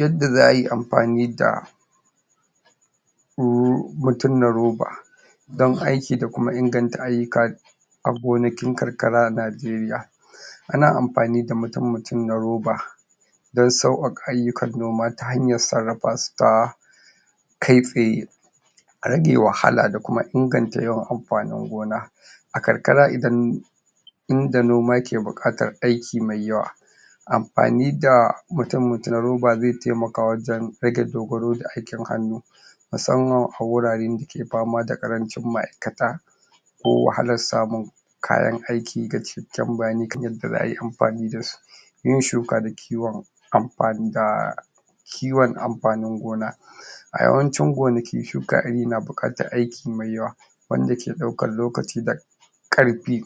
Yadda za a yi amfani da horo mutum na roba don aiki da kuma inganta ayyuka a gonakin karkara a Najeriya Ana amfani da mutum-mutum na roba don sauƙaƙa ayyukan noma ta hanyar sarrafa su ta kai tsaye, a rage wahalwa da kuma inganta yawan amfanin gona, a karkara idan in da noma ke buƙatar aiki mai yawa amfani da mutum mutumin roba zai taimaka wajen rage aikin hannu musamman a wuraren da ke fama da ƙarancin ma'aikata ko wahalar samun kayan aiki da binciken kan yadda za ai amfani da su yin shuka da kiwon amfani da kiwon amfanin gona a yawancin gonaki shukar iri na buƙatar aiki mai yawa, wanda ke ɗaukar lokaci da ƙarfi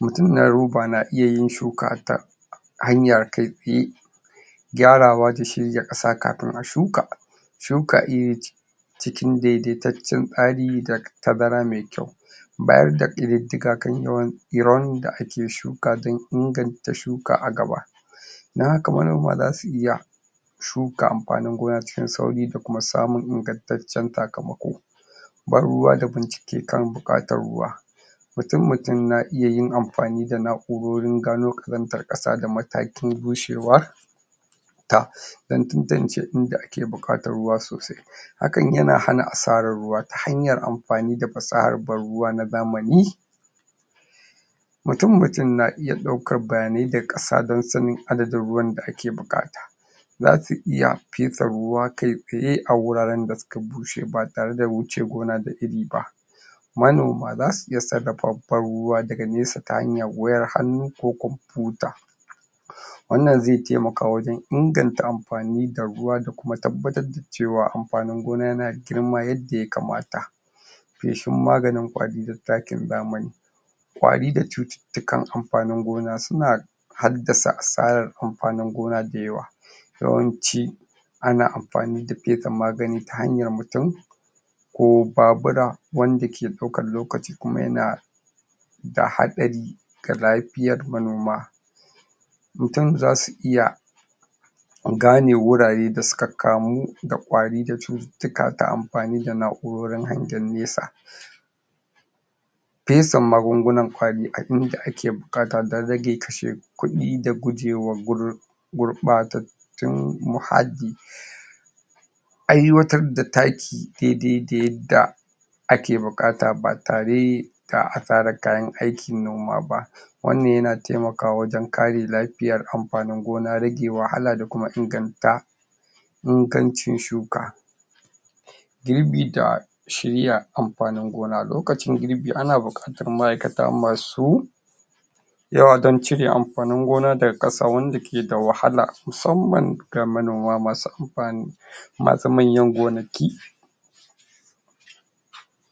mutum na roba na iyayin shuka a ta hanya kai tsaye gyarawa da shuka ƙasa kafin ai shuka. Shuka iri ce cikin daidaitaccen tsari da tazara mai kyau bayar da ƙididdigan kan yawan irin da ake shuka don inganta shuka a gaba don haka manoma za su iya shuka amfaningona cikin sauri da kuma samun ingantaccen saka mako ban ruwa da bincike kan buƙatar ruwa mutum-mutum na iya yin amfani da na'urorin gano ƙazantar ƙasa da matakin bushewa ta don tantance in da ake buƙatar ruwa sosai hakan yana asarar ruwa ta hanyar amfani da fasahar ban ruwa na zamani Mutum-mutum na iya ɗaukar bayanan ƙasa don sanin adadin ruwan da ake buƙata za su iya fesa ruwa kai tsaye a wuraren da suka bushe ba tare da wuce gona da iri ba manoma za su iya sarrafa ban ruwa daga nesa ta hanyar wayar hannu ko kuma kwamfiyuta wannan zai taimaka wajen inganata amfani da ruwa da kuma tabbatar da cewa amfanin gona yana girma yadda aya kamata feshin maganin ƙwari da takin zamani. Kwari da cututtukan amfanin gona suna hadda sa asarar amfanin gona da yawa, yawanci ana amfani da fesa magani ta hanyar mutum ko babura wanda ke ɗaukar lokaci kuma yana da hatsari ga lafiyar manoma mutum za su iya gane wurare da suka kamu da ƙwari da cututtuka da suka kamu ta hanyar amfani da na'urar hangen nesa. fesa magungunan ƙwari a in da ake buƙata don rage kashe kuɗi da gujewa gurɓatattun muhalli aiwatar da taki daidai dayadda ake buƙata ba tare da asarar kayan aikin noma ba wannan yana taimakawa wajen kare lafiyar amfanin gona rage wahala da kuma inganta ingancin shuka girbi da shirya amfanin gona. Lokacin girbi ana buƙatar ma'aikata masu yawa don cire amfanin gona daga ƙasa wanda ke da wahala musamman manoma ga masu amfani wanda ke da manyan gonaki